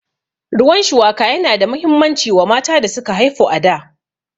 Ruwan shuwaka yana da muhimmanci wa mata da suka haifu a da